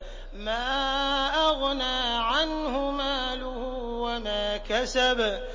مَا أَغْنَىٰ عَنْهُ مَالُهُ وَمَا كَسَبَ